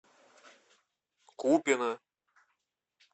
купино